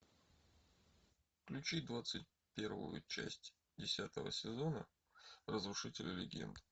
включи двадцать первую часть десятого сезона разрушители легенд